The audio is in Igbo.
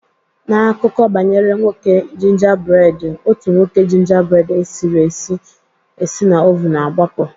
N'akụkọ banyere nwoke gingerbread, otu nwoke gingerbread esiri esi esi na oven gbapụ